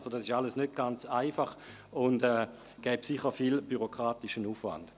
Dies alles ist nicht ganz einfach, und es führte sicher zu viel bürokratischem Aufwand.